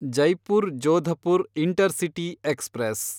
Jaipur Jodhpur intercity express